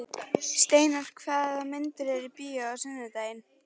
Steinar, hvaða myndir eru í bíó á sunnudaginn?